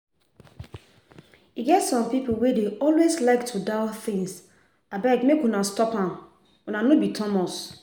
E get some people wey dey always like to doubt things abeg make una stop am una no be Thomas